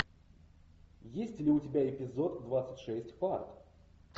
есть ли у тебя эпизод двадцать шесть фарт